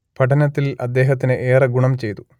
പഠനത്തിൽ അദ്ദേഹത്തിന് ഏറെ ഗുണം ചെയ്തു